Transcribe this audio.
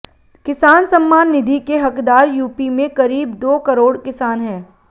किसान सम्मान निधि के हकदार यूपी में करीब दो करोड़ किसान है